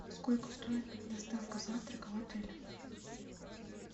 сколько стоит доставка завтрака в отеле